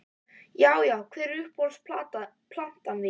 Já Já Hver er uppáhalds platan þín?